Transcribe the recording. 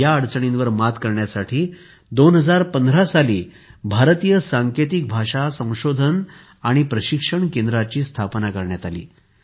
या अडचणींवर मात करण्यासाठी 2015 साली भारतीय सांकेतिक भाषा संशोधन आणि प्रशिक्षण केंद्राची स्थापना करण्यात आली